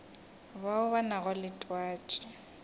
bao ba nago le twatši